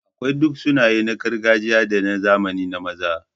Akwai duk sunaye na gargajiya da na zamani na maza.